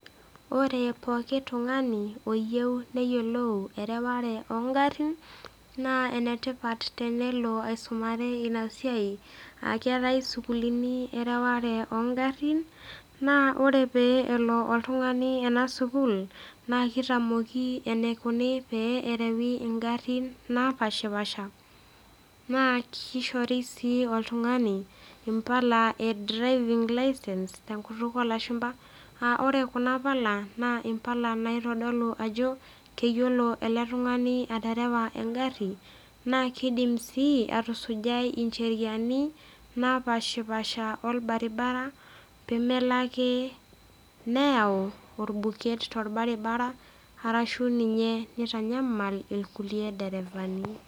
Ore pooki tung'ani oyieu neyiolou ereware oong'arin naa enetipat tenelo aisumare ina siai aa keatai isukulini ereware oo ng'arin naa ore pee elo oltung'ani ena sukuul naa eitamoki eneikuni pee erewi ingarin napaashipaasha, naa keishori sii oltung'ani impala e driving license te enkutuk oo lashumba aa kore kuna pala naa impala naitodolu ele tung'ani ajo keyiolo ele tung'ani aterewa engari naa keidim sii atusujaai incheriani napaashipaasha olbaribara pee melo ake neyau olbuket tolbaribara anaa ninye neitanyamal ilkulie derefani.